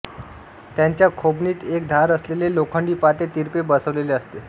त्याच्या खोबणीत एक धार असलेले लोखंडी पाते तिरपे बसवलेले असते